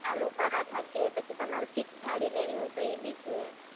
આલુ પરાઠા છે, પછી તમારે fix -થાળી લેવી હોય તો એ બી છે.